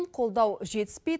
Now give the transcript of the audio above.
қолдау жетіспейді